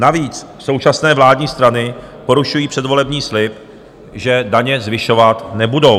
Navíc současné vládní strany porušují předvolební slib, že daně zvyšovat nebudou.